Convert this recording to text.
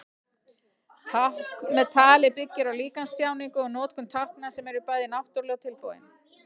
Tákn með tali byggir á líkamstjáningu og notkun tákna sem eru bæði náttúruleg og tilbúin.